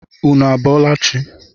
Ụnụ a bọọla chi?